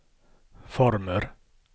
former